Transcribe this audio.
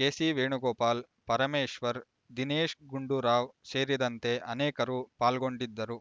ಕೆಸಿವೇಣು ಗೋಪಾಲ್ ಪರಮೇಶ್ವರ್ ದಿನೇಶ್ ಗುಂಡೂರಾವ್ ಸೇರಿದಂತೆ ಅನೇಕರು ಪಾಲ್ಗೊಂಡಿದ್ದರು